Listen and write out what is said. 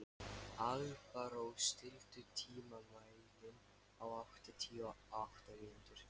Alparós, stilltu tímamælinn á áttatíu og átta mínútur.